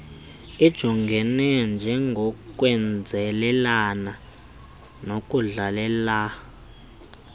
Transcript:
ijongeke njengokwenzelelela nokudlelelela